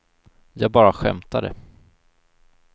jag bara skämtade